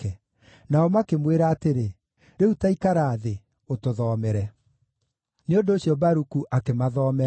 Nao makĩmwĩra atĩrĩ, “Rĩu ta ikara thĩ, ũtũthomere.” Nĩ ũndũ ũcio Baruku akĩmathomera.